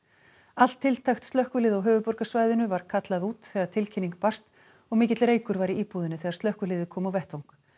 allt tiltækt slökkvilið á höfuðborgarsvæðinu var kallað út þegar tilkynning barst og mikill reykur var í íbúðinni þegar slökkviliðið kom á vettvang